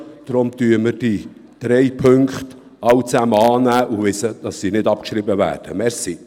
Deshalb nehmen wir alle drei Punkte an und schreiben diese nicht ab.